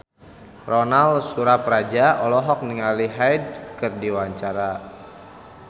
Ronal Surapradja olohok ningali Hyde keur diwawancara